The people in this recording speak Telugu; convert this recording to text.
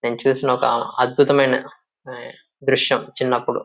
నేను చూసిన ఒక అద్భుతమైన ఆ దృశ్యం చిన్నప్పుడు.